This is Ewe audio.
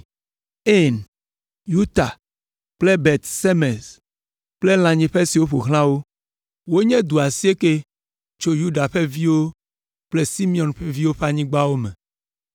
Ain, Yuta kple Bet Semes kple lãnyiƒe siwo ƒo xlã wo. Wonye du asiekɛ tso Yuda ƒe viwo kple Simeon ƒe viwo ƒe anyigbawo me.